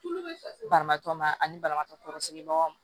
Banabaatɔ ma ani banabaatɔ kɔrɔsigi bagaw